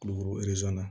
Kulukoro na